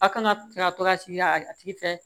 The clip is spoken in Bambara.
A kan ka to ka sigi a tigi fɛ